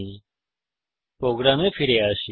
এখন আমাদের প্রোগ্রামে ফিরে আসি